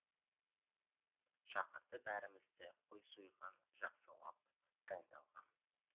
шақырды бәрімізді қой сойған жақсылап дайындалған